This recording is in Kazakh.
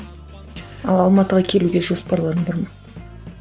ал алматыға келуге жоспарларың бар ма